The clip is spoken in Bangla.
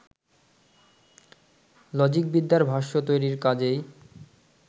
লজিকবিদ্যার ভাষ্য তৈরির কাজেই